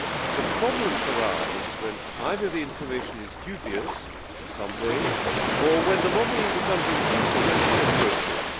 The problems arise when either the information is dubious in some way or when the lobbying becomes intrusive and inappropriate.